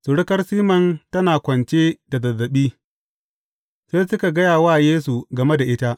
Surukar Siman tana kwance da zazzaɓi, sai suka gaya wa Yesu game da ita.